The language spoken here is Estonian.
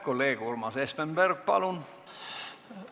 Kolleeg Urmas Espenberg, palun!